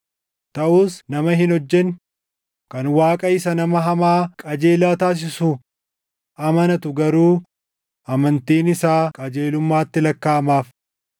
Taʼus nama hin hojjenne, kan Waaqa isa nama hamaa qajeelaa taasisu amanatu garuu amantiin isaa qajeelummaatti lakkaaʼamaaf.